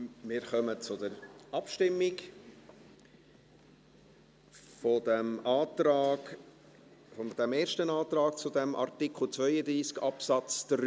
Wir kommen zur Abstimmung über diesen ersten Antrag zu Artikel 32 Absatz 3.